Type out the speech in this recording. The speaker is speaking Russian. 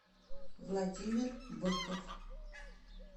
владимир быков